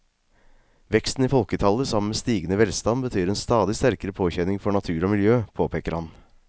Veksten i folketallet sammen med stigende velstand betyr en stadig sterkere påkjenning for natur og miljø, påpeker han.